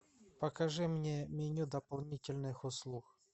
покажи мне меню дополнительных услуг